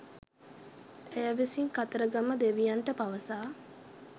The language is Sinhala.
ඇය විසින් කතරගම දෙවියන්ට පවසා